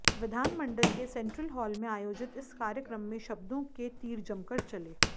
विधानमंडल के central hall में आयोजित इस कार्यक्रम में शब्दों के तीर जमकर चले